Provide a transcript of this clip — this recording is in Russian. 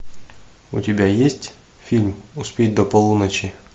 у тебя есть фильм успеть до полуночи